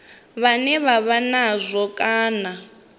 vhane vha vha nazwo kana